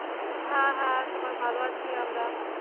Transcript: হ্যাঁ হ্যাঁ সবাই ভালো আছি আমরা।